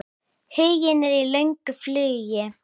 Huginn er í löngu flugi.